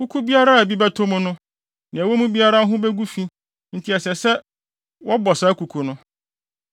Kuku biara a bi bɛtɔ mu no, nea ɛwɔ mu biara ho begu fi enti ɛsɛ sɛ wɔbɔ saa kuku no.